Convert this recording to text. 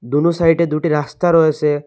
দুনো সাইডে দুটি রাস্তা রয়েসে।